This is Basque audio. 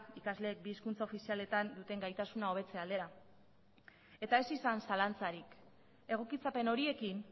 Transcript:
ikasleek bi hizkuntza ofizialetan duten gaitasuna hobetze aldera eta ez izan zalantzarik egokitzapen horiekin